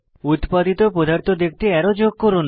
উত্পাদিত পদার্থ দেখতে অ্যারো যোগ করুন